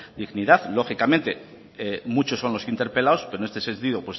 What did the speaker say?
dignidad lógicamente muchos son los interpelados pero en este sentido